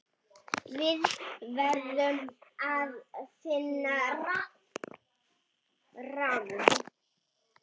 Við verðum að finna ráð.